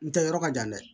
N tɛ yɔrɔ ka jan dɛ